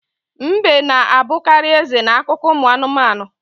Mbe na-abukarị eze n'akụkọ ụmụ anụmanụ.